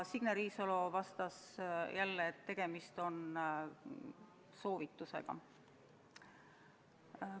Signe Riisalo vastas jälle, et tegemist on soovitusega.